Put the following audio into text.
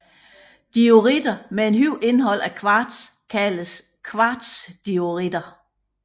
Dioritter med et højt indhold af kvarts kaldes kvartsdioritter